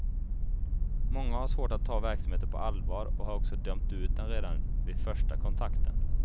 Många har svårt att ta verksamheten på allvar och har också dömt ut den redan vid första kontakten.